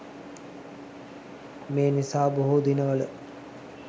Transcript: මේ නිසා බොහෝ දිනවල